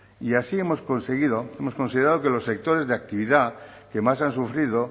y así hemos conseguido hemos considerado que los sectores de actividad que más han sufrido